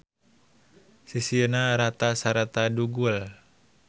Sisina rata sarta dugul.